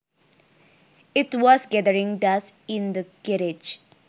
It was gathering dust in the garage